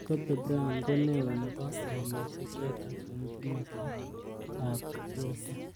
Kobe Bryant ko neo nebo urerioshek chotok eng kimosta ab U.S.A.